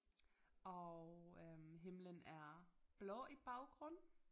Og øh himlen er blå i baggrund